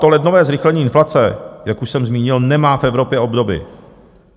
To lednové zrychlení inflace, jak už jsem zmínil, nemá v Evropě obdoby.